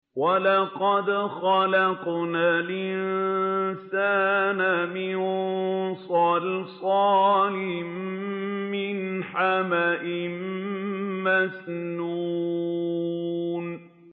وَلَقَدْ خَلَقْنَا الْإِنسَانَ مِن صَلْصَالٍ مِّنْ حَمَإٍ مَّسْنُونٍ